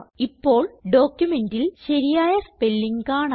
ഇപ്പോൾ ഡോക്യുമെന്റിൽ ശരിയായ സ്പെല്ലിംഗ് കാണാം